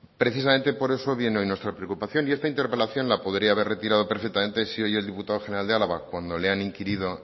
precisamente por eso viene hoy nuestra preocupación y esta interpelación la podría haber retirado perfectamente si hoy el diputado general de álava cuando le han inquirido